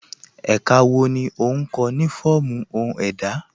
Ẹ̀ká wọ́ ní o nkọ̀ ni fọọmu ọhun èdá?